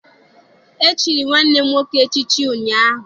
E chiri nwanne m nwoke echichi ụnyaahụ.